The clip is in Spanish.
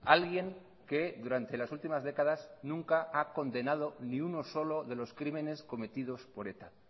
alguien que durante las últimas décadas nunca ha condenado ni uno solo de los crímenes cometidos por eta